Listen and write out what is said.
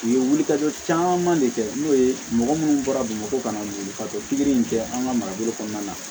U ye wulikajɔ caman de kɛ n'o ye mɔgɔ munnu bɔra bamakɔ ka na wuli ka don pikiri in kɛ an ka marabolo kɔnɔna na